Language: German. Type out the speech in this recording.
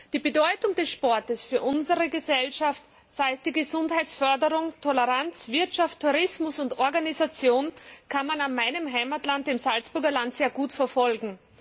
Die Bedeutung des Sports für unsere Gesellschaft, sei es die Gesundheitsförderung, Toleranz, Wirtschaft, Tourismus oder Organisation, kann man an meinem Heimatland, dem Salzburger Land, sehr gut verfolgen.